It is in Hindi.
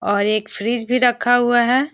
और एक फ्रिज भी रखा हुआ है।